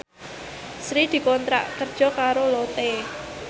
Sri dikontrak kerja karo Lotte